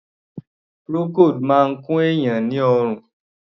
Procold máa ń kun èèyàn ni oorun.